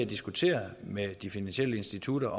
diskuterer med de finansielle institutter